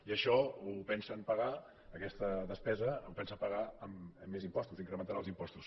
i això ho pensen pagar aquesta despesa la pensen pagar amb més impostos incrementant els impostos